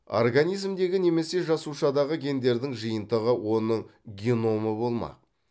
организмдегі немесе жасушадағы гендердің жиынтығы оның геномы болмақ